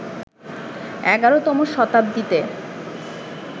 ১১তম শতাব্দীতে